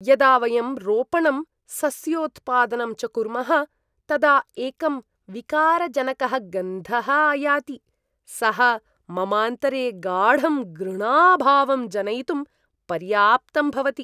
यदा वयं रोपणं, सस्योत्पादनं च कुर्मः तदा एकं विकारजनकः गन्धः आयाति, सः ममान्तरे गाढं घृणाभावं जनयितुं पर्याप्तं भवति।